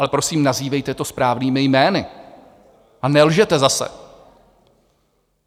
Ale prosím, nazývejte to správnými jmény a nelžete zase.